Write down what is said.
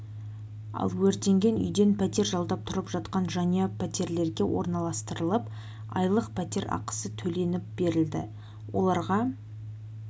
ал өртенген үйден пәтер жалдап тұрып жатқан жанұя пәтерлерге орналастырылып айлық пәтер ақысы төленіп берілді оларға